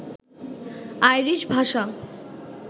Irish ভাষা